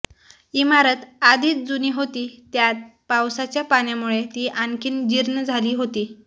इमारत आधीच जूनी होती त्यात पावसाच्या पाण्यामुळे ती आणखी जीर्ण झाली होती